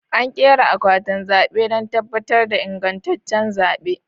An ƙera akwatin zaɓe don tabbatar da ingantaccen zaɓe